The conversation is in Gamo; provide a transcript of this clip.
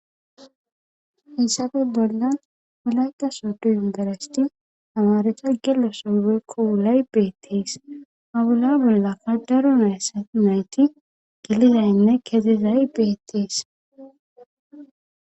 issafe bolla wulayqqa sootu yungarasti amareta gelo soybeykko wulay beettees hawula bollaka daro nayssa nayti gilidaynne kedizay beettees